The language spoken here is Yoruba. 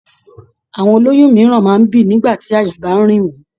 Àwọn ó lóyún mìíràn máa ń bì nígbà tí àyà bá ń rìn wọ́n.